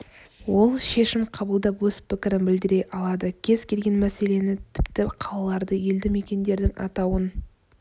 ол шешім қабылдап өз пікірін білдіре алады кез келген мәселені тіпті қалаларды елді мекендердің атауын